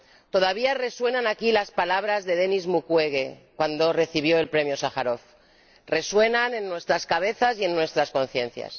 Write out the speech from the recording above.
Todavía resuenan aquí las palabras de Denis Mukwege cuando recibió el Premio Sájarov, resuenan en nuestras cabezas y en nuestras conciencias.